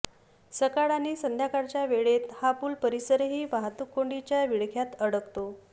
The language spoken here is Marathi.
सकाळ आणि संध्याकाळच्या वेळेत हा पूल परिसरही वाहतूककोंडीच्या विळख्यात अडकतो